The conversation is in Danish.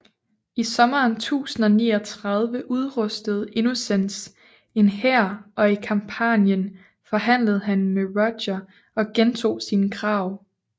I sommeren 1039 udrustede Innocens en hær og i Campanien forhandlede han med Roger og gentog sine krav